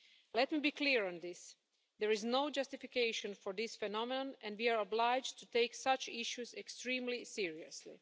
Let me be clear on this there is no justification for this phenomenon and we are obliged to take such issues extremely seriously.